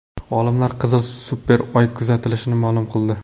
Olimlar qizil super Oy kuzatilishini ma’lum qildi.